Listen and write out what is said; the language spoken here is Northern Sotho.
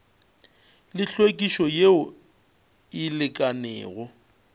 le hlwekišo yeo e lekanego